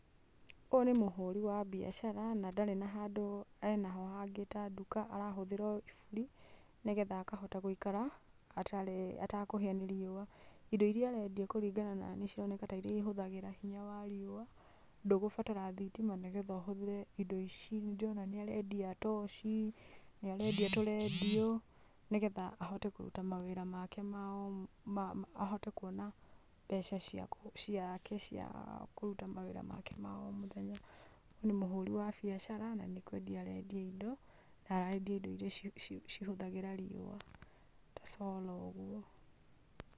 Ũyũ nĩ mũhũri wa biacara, na ndarĩ na handũ enaho ta nduka. Arahũthĩra o iburi, nĩgetha akahota gũikara atarĩ, atekũhĩa nĩ riua. Indo iria arendia kũringana na niĩ, cironeka tarĩ iria cihũthagĩra hinya wa riũa, ndũgũbatara thitima nĩgetha ũhũthĩre indo ici. Ndĩrona nĩ arendia toci, nĩ arendia tũrendio, nĩgetha ahote kũruta mawĩra make ma o mũthenya, ahote kwona mbeca cia kũruta mawĩra make ma o mũthenya. Ũyũ nĩ mũhũri wa biacara na nĩ kwendia arendia indo, na arendia indo iria ci hũthagĩra riũa ta solar ũguo.